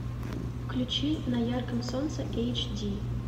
включи на ярком солнце эйч ди